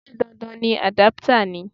Ṣé dandan ni àdápútà ni?